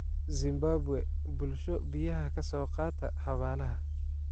Zimbabwe: Bulsho biyaha ka soo qaadata xabaalaha.